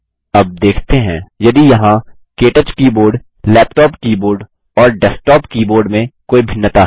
अब देखते हैं यदि यहाँ के टच कीबोर्ड लैपटॉप कीबोर्ड और डेस्कटॉप कीबोर्ड में कोई भिन्नता है